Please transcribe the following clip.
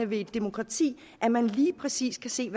ved et demokrati at man lige præcis kan se